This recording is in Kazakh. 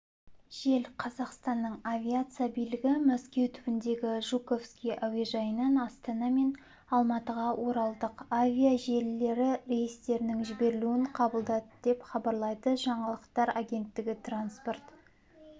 жел қазақстанның авиация билігі мәскеу түбіндегі жуковский әуежайынан астана мен алматыға оралдық авиа желілері рейстерінің жіберілуін қабылдады деп хабарлайды жаңалықтар агенттігі транспорт